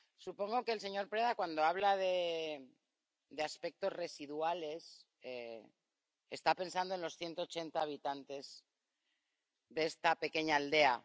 Supongo que el señor Preda, cuando habla de aspectos residuales, está pensando en los 180 habitantes de esta pequeña aldea.